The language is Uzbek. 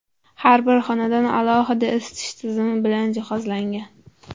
Har bir xonadon alohida isitish tizimi bilan jihozlangan.